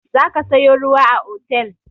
Za ka sayo ruwa a otel!